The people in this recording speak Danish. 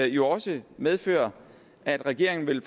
jo også medføre at regeringen vil